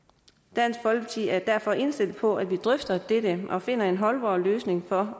dansk folkeparti er derfor indstillet på at vi drøfter dette og finder en holdbar løsning for